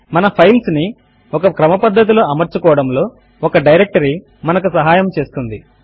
మన ఫైల్స్ ను ఒక క్రమపద్దతిలో అమర్చుకోవడములో ఒక డైరెక్టరీ మనకు సహాయము చేస్తుంది